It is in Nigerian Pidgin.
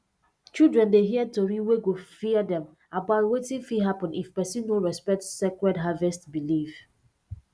children dey hear tori wey go fear dem about wetin fit happen if person no respect sacred harvest belief